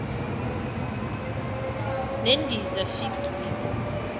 nendiza fixed wing